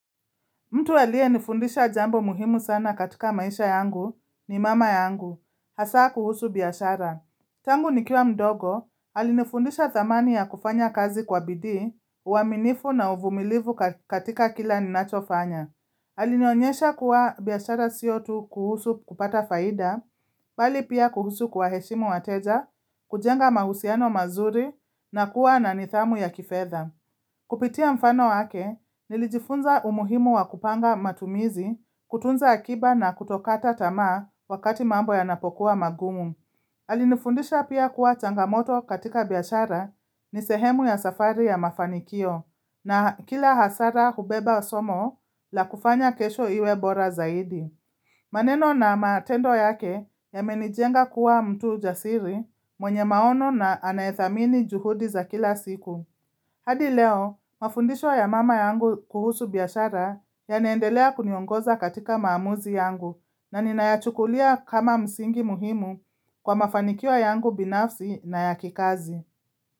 Mtu aliyenifundisha jambo muhimu sana katika maisha yangu ni mama yangu, hasaa kuhusu biashara. Tangu nikiwa mdogo, alinifundisha dhamani ya kufanya kazi kwa bidii, uwaminifu na uvumilivu katika kila ninacho fanya. Alinionyesha kuwa biylashara sio tu kuhusu kupata faida, bali pia kuhusu kuwaheshimu wateja, kujenga mahusiano mazuri na kuwa na nidhamu ya kifedha. Kupitia mfano wake nilijifunza umuhimu wa kupanga matumizi kutunza akiba na kutokata tamaa wakati mambo yanapokuwa magumu. Alinifundisha pia kuwa changamoto katika biashara ni sehemu ya safari ya mafanikio na kila hasara hubeba somo la kufanya kesho iwe bora zaidi. Maneno na matendo yake yamenijenga kuwa mtu jasiri mwenye maono na anayedhamini juhudi za kila siku. Hadi leo, mafundisho ya mama yangu kuhusu biashara yanaendelea kuniongoza katika maamuzi yangu na ninayachukulia kama msingi muhimu kwa mafanikio yangu binafsi na ya kikazi.